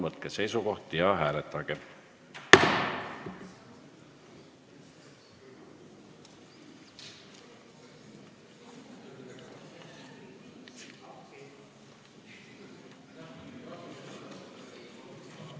Palun võtke seisukoht ja hääletage!